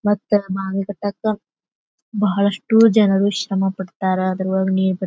ಮತ್ತೆ ಬಾವಿ ಕಟ್ಟಾಕ ಬಹಳಷ್ಟು ಜನರು ಶ್ರಮ ಪಡ್ತಾರೆ ಅದರೊಳಗೆ ನೀರು ಬರತೈತಿ.